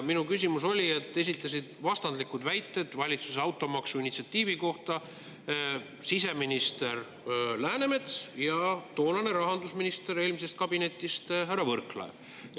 Minu küsimuse põhjustas see, et valitsuse automaksu initsiatiivi kohta olid esitanud vastandlikke väiteid siseminister Läänemets ja eelmise kabineti rahandusminister härra Võrklaev.